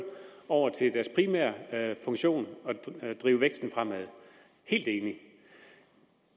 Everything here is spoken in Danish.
over til deres primære funktion at drive væksten fremad helt enig